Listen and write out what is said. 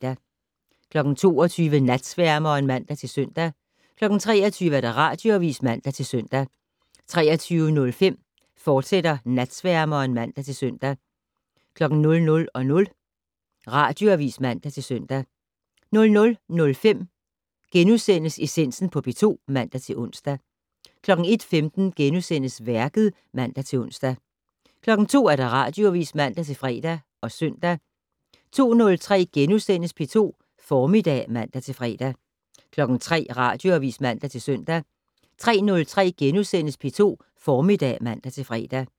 22:00: Natsværmeren (man-søn) 23:00: Radioavis (man-søn) 23:05: Natsværmeren, fortsat (man-søn) 00:00: Radioavis (man-søn) 00:05: Essensen på P2 *(man-ons) 01:15: Værket *(man-ons) 02:00: Radioavis (man-fre og søn) 02:03: P2 Formiddag *(man-fre) 03:00: Radioavis (man-søn) 03:03: P2 Formiddag *(man-fre)